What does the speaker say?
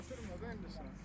Ötür müdür indi?